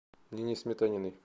нине сметаниной